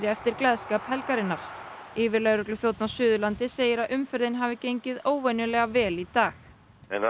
eftir gleðskap helgarinnar yfirlögregluþjónn á Suðurlandi segir að umferðin hafi gengið óvenjulega vel í dag það